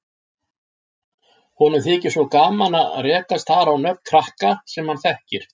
Honum þykir svo gaman að rekast þar á nöfn krakka sem hann þekkir.